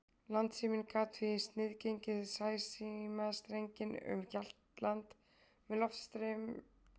Landsíminn gat því sniðgengið sæsímastrenginn um Hjaltland með loftskeytum og talsíma, ef svo bar undir.